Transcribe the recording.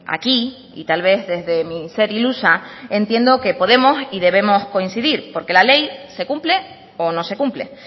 aquí y tal vez desde mi ser ilusa entiendo que podemos y debemos coincidir porque la ley se cumple o no se cumple